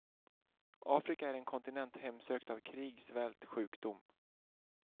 Afrika är en kontinent hemsökt av krig, svält, sjukdom.